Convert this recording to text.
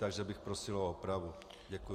Takže bych prosil o opravu.